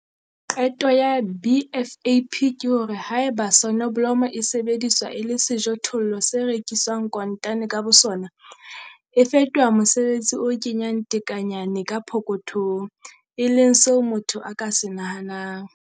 Qeto ya BFAP ke hore 'haeba soneblomo e sebediswa e le sejothollo se rekiswang kontane ka bosona, e fetoha mosebetsi o kenyang tekenyana ka pokothong, e leng seo motho a ka se nahanang'.